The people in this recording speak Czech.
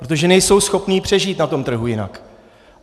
Protože nejsou schopni přežít na tom trhu jinak.